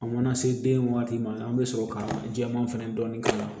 An mana se den waati ma an bɛ sɔrɔ ka jɛman fɛnɛ dɔɔnin k'a la